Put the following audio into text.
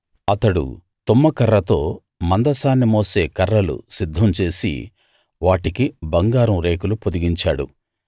అతడు తుమ్మకర్రతో మందసాన్ని మోసే కర్రలు సిద్ధం చేసి వాటికి బంగారం రేకులు పొదిగించాడు